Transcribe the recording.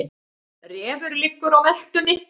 Refur liggur á meltunni.